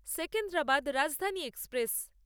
Secunderabad Rajdhani express